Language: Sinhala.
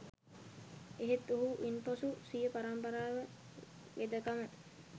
එහෙත් ඔහු ඉන්පසු සිය පරම්පරා වෙදකම